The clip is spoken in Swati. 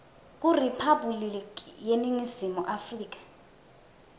kuriphabhuliki yeningizimu afrika